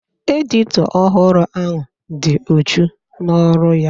Edito ọhụrụ ahụ dị uchu n'ọrụ ya